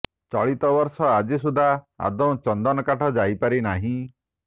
ଚଳିତ ବର୍ଷ ଆଜି ସୁଦ୍ଧା ଆଦୌ ଚନ୍ଦନ କାଠ ଯାଇପାରି ନାହିଁ